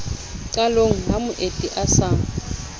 qalong ha moeti a sa